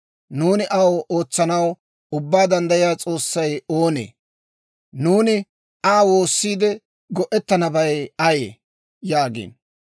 Nuuni aw ootsanaw Ubbaa Danddayiyaa S'oossay oonee? Nuuni Aa woossiide, go'ettanabay ayee?› yaagiino.